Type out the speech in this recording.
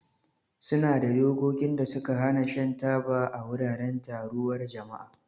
Ƙasashe da yawa suna da dokokin da suka hana shan taba a wuraren taruwar jama'a.